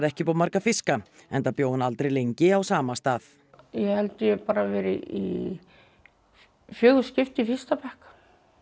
ekki upp á marga fiska enda bjó hún aldrei lengi á sama stað ég held ég bara verið í fjögur skipti í fyrsta bekk